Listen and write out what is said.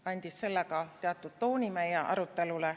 Ta andis sellega teatud tooni meie arutelule.